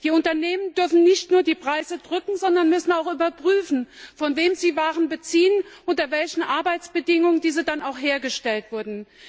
Die Unternehmen dürfen nicht nur die Preise drücken, sondern müssen auch überprüfen, von wem sie Waren beziehen, unter welchen Arbeitsbedingungen diese dann auch hergestellt wurden.